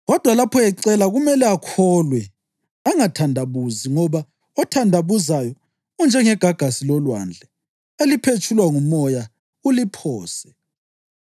Kodwa lapho ecela kumele akholwe angathandabuzi ngoba othandabuzayo unjengegagasi lolwandle eliphetshulwa ngumoya uliphose.